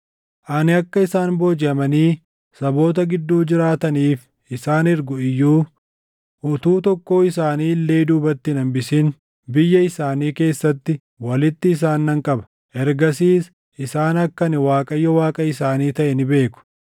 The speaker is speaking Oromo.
Ani akka isaan boojiʼamanii saboota gidduu jiraataniif isaan ergu iyyuu, utuu tokkoo isaanii illee duubatti hin hambisin biyya isaanii keessatti walitti isaan nan qaba; ergasiis isaan akka ani Waaqayyo Waaqa isaanii taʼe ni beeku.